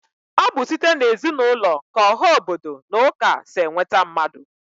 Ọ bụ site n'ezinụlọ k'ọha obodo na ụka si enweta mmadụ